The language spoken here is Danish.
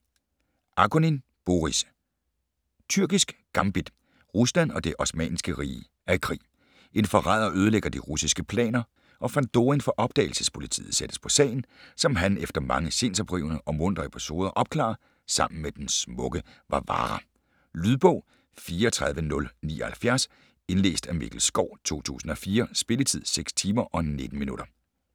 Akunin, Boris: Tyrkisk gambit Rusland og Det Osmanniske Rige er i krig. En forræder ødelægger de russiske planer, og Fandorin fra Opdagelsespolitiet sættes på sagen, som han efter mange sindsoprivende og muntre episoder opklarer, sammen med den smukke Varvara. Lydbog 34079 Indlæst af Mikkel Schou, 2004. Spilletid: 6 timer, 19 minutter.